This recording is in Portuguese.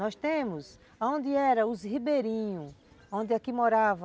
Nós temos, onde eram os ribeirinhos, onde aqui morava